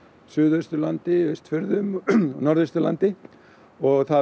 Suðausturlandi Austfjörðum Norðausturlandi og það